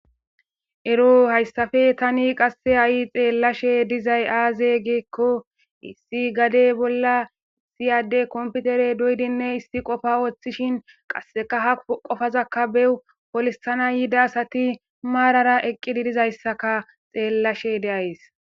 Ero hayssafe tani qasse ha'i xeellashe dizay aaze geekko issi gade bolla siyade komputere doydinne issi qofa woththishin qasseka ha qofazakka beu polissana yida asati maarara eqqididizayssaka xeellashe deays.